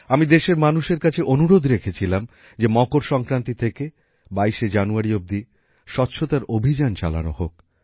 আমি দেশের মানুষের কাছে অনুরোধ রেখেছিলাম যে মকর সংক্রান্তি থেকে ২২শে জানুয়ারি অবধি স্বচ্ছতার অভিযান চালানো হোক